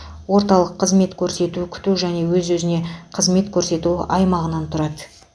орталық қызмет көрсету күту және өзіне өзі қызмет көрсету аймағынан тұрады